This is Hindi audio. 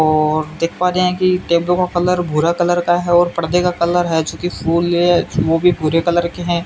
और देख पा रहे हैं कि टेंपो का कलर भूरा कलर का है और पर्दे का कलर है जो कि फूल ये वो भी भूरे कलर के हैं।